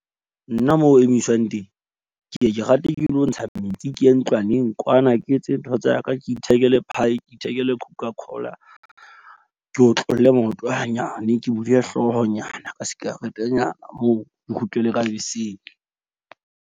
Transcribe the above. Nna moo ho emiswang teng, ke ke ke rate ke lo ntsha metsi, ke ye ntlwaneng kwana. Ke etse ntho tsa ka. Ke ithekele pie, ke ithekele coca cola. Ke otlolle maoto ha nyane. Ke hlooho nyana ka sikaretenyana moo ke kgutlele ka beseng.